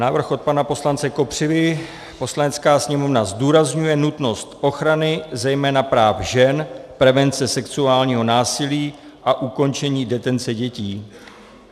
Návrh od pana poslance Kopřivy: "Poslanecká sněmovna zdůrazňuje nutnost ochrany zejména práv žen, prevence sexuálního násilí a ukončení detence dětí.